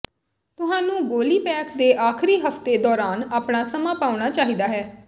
ਤੁਹਾਨੂੰ ਗੋਲੀ ਪੈਕ ਦੇ ਆਖਰੀ ਹਫਤੇ ਦੌਰਾਨ ਆਪਣਾ ਸਮਾਂ ਪਾਉਣਾ ਚਾਹੀਦਾ ਹੈ